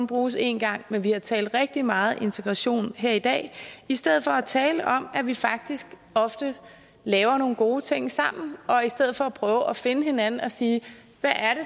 bruges én gang men vi har talt rigtig meget integration her i dag i stedet for at tale om at vi faktisk ofte laver nogle gode ting sammen og i stedet for at prøve at finde hinanden og sige hvad